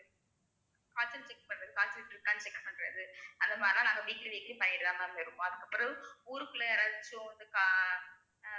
காய்ச்சல் check பண்றது காய்ச்சல் இருக்கானு check பண்றது அந்த மாதிரிலாம் நாங்க weekly weekly பண்ணிட்டு தான் ma'am இருக்கோம் அதுக்கப்புறம் ஊருக்குள்ள யாராச்சும் வந்து கா~ அஹ்